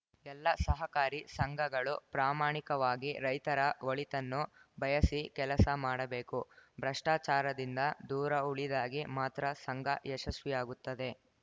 ಎಲ್ಲ ಸಹಕಾರಿ ಸಂಘಗಳು ಪ್ರಾಮಾಣಿಕವಾಗಿ ರೈತರ ಒಳಿತನ್ನು ಬಯಸಿ ಕೆಲಸ ಮಾಡಬೇಕು ಭ್ರಷ್ಟಾಚಾರದಿಂದ ದೂರ ಉಳಿದಾಗೆ ಮಾತ್ರ ಸಂಘ ಯಶಸ್ವಿಯಾಗುತ್ತದೆ